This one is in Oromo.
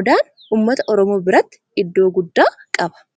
Odaan ummata oromoo biratti iddoo guddaa qaba.